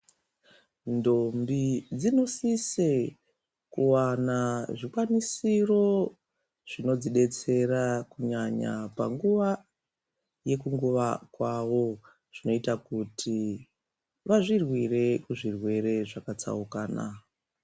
Ndombi dzinosise kuwana zvikwanisiro zvinodzidetsera kunyanya panguwa yekunguwa kwavo. Zvinoita kuti vazvirwire kuzvirwere zvakatsaukana.